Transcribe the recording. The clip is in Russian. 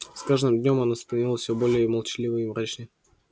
с каждым днём она становилась всё более молчаливой и мрачной